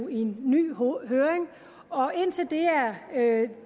i ny høring og